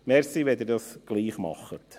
Danke, wenn Sie das auch tun.